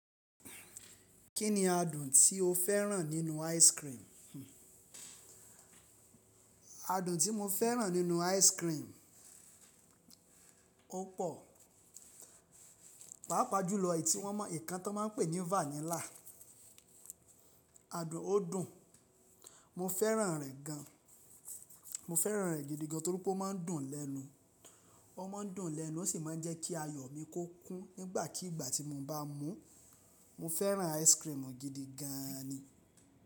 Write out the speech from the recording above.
Kí ni adùn tí o féràn nínú ice cream? Adùn tí mo féràn nínú ice cream, ó pò. Páápàá jùlọ èyí tí wón mọ ìkan tí wọ́n máa ń pè ní vanilla. Adùn ó dùn. Mo féràn rẹ̀ gan. Mo féràn rẹ̀ gidigan torí pé ó máa ń dùn lẹ́nu. Ó máa ń dùn lẹ́nu, ó sì máa ń jẹ́ kí ayọ̀ mi kó kún nígbàkigbà tí mo bá mú. Mo féràn ice cream gidi gan ni.